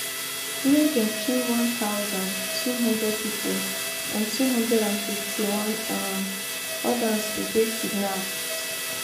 wia dem kill one thousand, two hundred pipo and two hundred and fifty-one um odas bin dey kidnapped